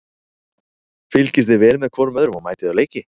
Fylgist þið vel með hvorum öðrum og mætið á leiki?